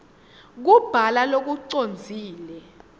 kubhala lokucondzile